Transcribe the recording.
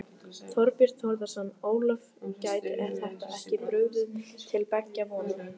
Þorbjörn Þórðarson: Ólöf, gæti þetta ekki brugðið til beggja vona?